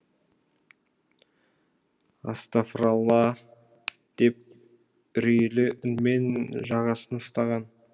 астафыралла а деп үрейлі үнмен жағасын ұстаған